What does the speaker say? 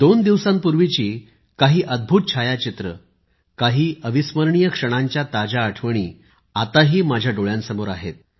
दोन दिवसांपूर्वीची काही अद्भुत छायाचित्रे काही अविस्मरणीय क्षणांच्या ताज्या आठवणी आताही माझ्या डोळ्यांसमोर आहेत